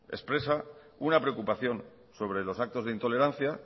expresa una preocupación sobre los actos de intolerancia